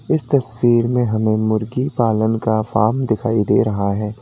इस तस्वीर में हमें मुर्गी पालन का फॉर्म दिखाई दे रहा है।